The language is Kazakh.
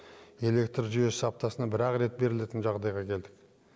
электр жүйесі аптасына бір ақ рет берілетін жағдайға келдік